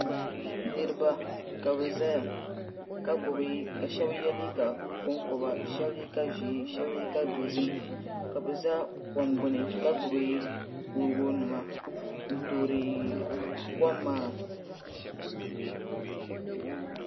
Niraba ka bi ʒɛya ka shab yɛ liiga konkoba shab liiga ʒiɛ shab liiga dozim ka bi ʒɛ kom gbuni ka gbubi kuriga nima n toori kom maa